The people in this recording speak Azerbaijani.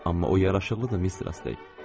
Amma o yaraşıqlıdır, Mistress Ley.